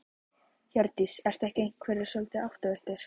Hjördís: Eru ekki einhverjir svolítið áttavilltir?